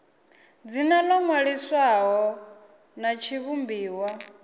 dzina ḽo ṅwaliswaho ḽa tshivhumbiwa